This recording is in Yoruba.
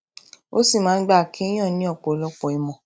ó sì máa ń gba kéèyàn ní òpòlọpò ìmọ